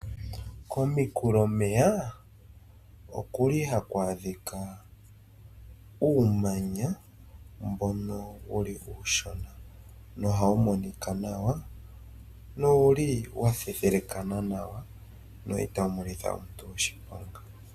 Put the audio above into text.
Komikulemeya oku li haku adhika uumanya mbono wuli uushona, nohawu monika nawa, nowuli wa thethelekana nawa, na itawu monitha omuntu oshiponga.